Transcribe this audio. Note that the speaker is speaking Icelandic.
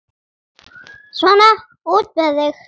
Svona, út með þig!